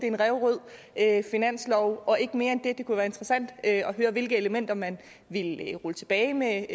en ræverød finanslov og ikke mere end det det kunne være interessant at høre hvilke elementer man ville rulle tilbage med